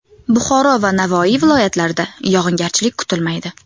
Buxoro va Navoiy viloyatlarida yog‘ingarchilik kutilmaydi.